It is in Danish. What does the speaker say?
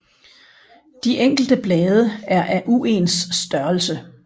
De enkelte blade er af uens størrelse